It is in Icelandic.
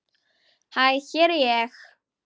Hæ hér er ég.